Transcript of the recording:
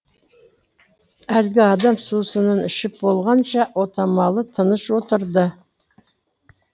әлгі адам сусынын ішіп болғанша отамалы тыныш отырды